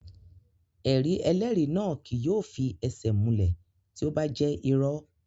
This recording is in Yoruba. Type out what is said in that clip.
Ẹ̀rí ẹlẹ́rìí náà kí yóò fi ẹsẹ̀ múlẹ̀ tí ó bá jẹ́ irọ́